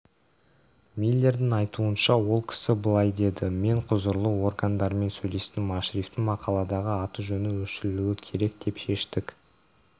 миллердің айтуынша ол кісі былай деді мен құзырлы органдармен сөйлестім ашрифтің мақаладағы аты-жөні өшірілуі керек деп шештік